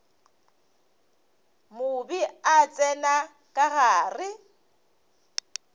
mobe a tsena ka gare